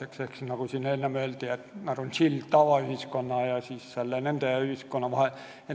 Need inimesed on ju, nagu siin enne öeldi, sild tavaühiskonna ja kurtide ühiskonna vahel.